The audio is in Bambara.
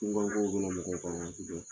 cunkan kow bɛna mɔgɔ kan waati dɔw la